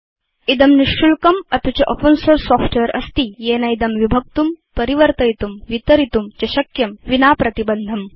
इदं निशुल्कम् अपि च ओपेन सोर्स सॉफ्टवेयर अस्ति येनेदं विभक्तुं परिवर्तयितुं वितरितुं च शक्यं विना प्रतिबन्धम्